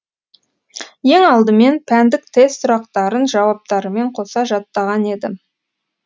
ең алдымен пәндік тест сұрақтарын жауаптарымен қоса жаттаған едім